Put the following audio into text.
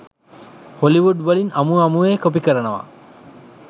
Hollywood වලින් අමු අමුවේ කොපි කරනවා